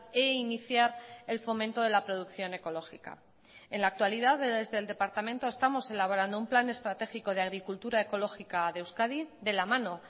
e iniciar el fomento de la producción ecológica en la actualidad desde el departamento estamos elaborando un plan estratégico de agricultura ecológica de euskadi de la mano